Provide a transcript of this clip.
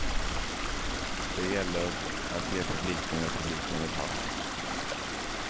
Det gäller att ge publiken vad publiken vill ha.